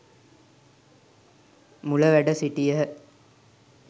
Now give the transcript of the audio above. මුල වැඩ සිටියහ.